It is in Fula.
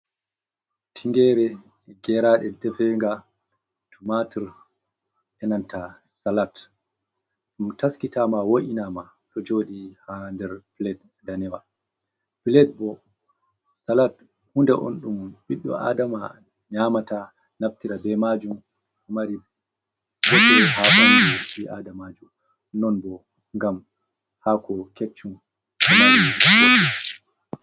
Tingere, geraden tefega tu matur enanta salat, ɗum taskitama, wo’inama ɗo jodi ha nder plade danewa. Pilet bo salat hunde on dum biddo adama nyamata naftira be majum mari boɗe ha bi adamaju non bo gam hako keccun ɗo mari bote.